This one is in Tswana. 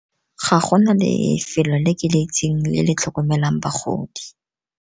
Ga go na lefelo le ke le itseng le le tlhokomelang bagodi.